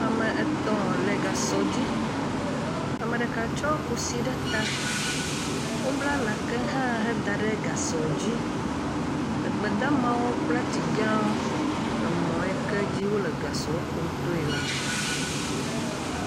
Ame etɔ̃ le gasɔ dzi, ame ɖeka tsɔ kusi ɖe ta, wobla nake hã heda ɖe gasɔ dzi, egbedamawo kple ati gãwo le mɔ ye ke dzi wole gasɔ kum toe la.